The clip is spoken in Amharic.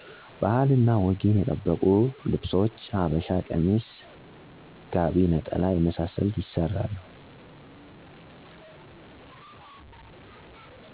ባህል እና ወግን የጠበቁ ልብሶች ሀበሻ ቀሚስ ጋቡ ነጠላ የመሳሰሉት ይስራሉ